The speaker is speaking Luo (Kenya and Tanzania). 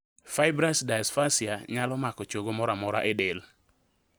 Fibrous dysplasia nyalo mako chogo moramora e del